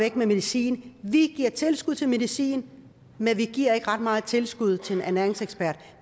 af med medicin vi giver tilskud til medicin men vi giver ikke ret meget tilskud til en ernæringsekspert